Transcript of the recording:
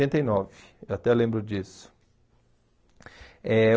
oitenta e nove. Eu até lembro disso. Eh